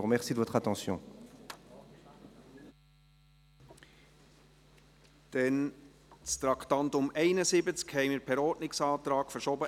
Das Traktandum 71 haben wir per Ordnungsantrag in die Herbstsession verschoben.